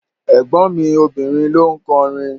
Ẹ̀gbọ́n mi obìnrin ló ń kọrin.